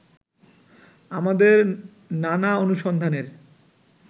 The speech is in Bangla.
আমাদের নানা অনুসন্ধানের